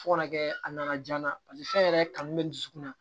Fo kana kɛ a nana ja na paseke fɛn yɛrɛ kanu bɛ n dusukun na